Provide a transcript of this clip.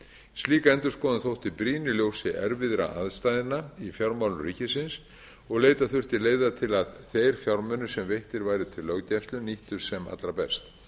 slík endurskoðun þótti brýn í ljósi erfiðara aðstæðna í fjármálum ríkisins og leita þurfti leiða til að þeir fjármunir sem veittir væru til löggæslunnar nýttust sem allra best